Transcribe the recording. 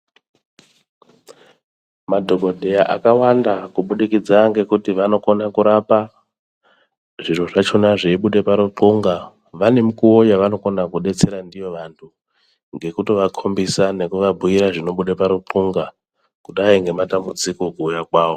Madhokodheya akawanda kubudikidza ngekuti vanokona kurapa zviro zvakona zveibuda parithunga vane mukuwo yavanokona kudetsera ndiyo vantu ngekutovakombisa nekuvabhuira zvinobuda paruthunga kudai nematambudziko kuuya kwawo.